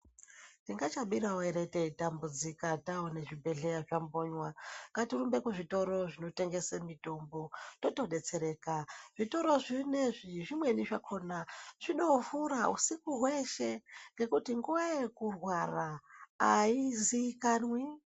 Tingacha birawo ere teyi tambudzika taone zvi bhedhleya zvambonywa ngatirumbe ku zvitoro zvino tengese mitombo toto detsereka zvitoro zvinezvi zvimweni zvakona zvino vhura husiku hweshe ngekuti nguva yekurwara ayizikanwi.